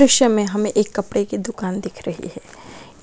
दृश्य में हमें एक कपड़े की दुकान दिख रही है